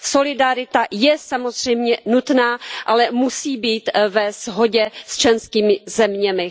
Solidarita je samozřejmě nutná, ale musí být ve shodě s členskými zeměmi.